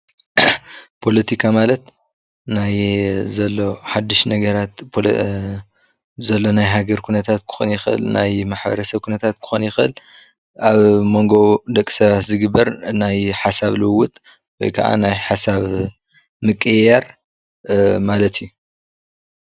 ፖለቲካ ማለት ናይ ዘል ሓደሽቲ ነገራት ዘሎ ናይ ሃገረ ኹነትት ክኾን ይኽእል ፣ናይ ሕብረተሰብ ኹነትት ኽኾን ይኽእል፣ አብ መንጎ ደቃ ሰባት ዘሎ ናይ ሓሳብ ልውውጥ ወይ ከዓ ናይ ሓሳብ ምቅይይር ማለት እዪ።